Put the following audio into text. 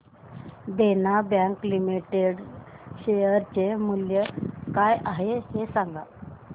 देना bank limited share चे मूल्य काय आहे हे सांगा